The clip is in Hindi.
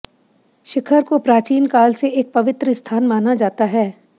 शिखर को प्राचीन काल से एक पवित्र स्थान माना जाता है